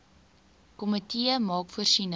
komitee maak voorsiening